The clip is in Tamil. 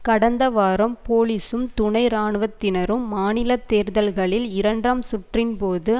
கடந்த வாரம் போலீசும் துணை இராணுவத்தினர்களும் மாநில தேர்தல்களில் இரண்டாம் சுற்றின்போது